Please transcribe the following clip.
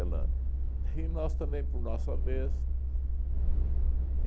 E nós também, por nossa vez.